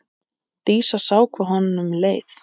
Dísa sá hvað honum leið.